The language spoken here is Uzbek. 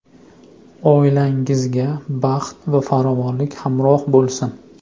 Oilangizga baxt va farovonlik hamroh bo‘lsin!